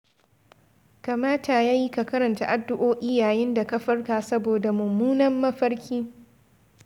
Kamata ya yi ka karanta addu'o'i yayin da ka farka saboda mummunan mafarki.